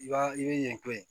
I b'a i bɛ ɲɛko ye